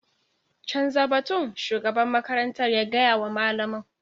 Canza batun shugaban makarantar ya gaya wa malamin.